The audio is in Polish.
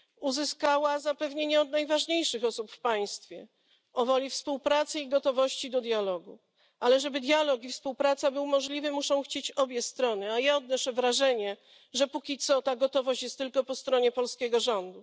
Uzyskała zapewnienie od najważniejszych osób w państwie o woli współpracy i gotowości do dialogu, ale żeby dialog i współpraca były możliwe, muszą chcieć ich obie strony, a ja odnoszę wrażenie, że póki co ta gotowość jest tylko po stronie polskiego rządu.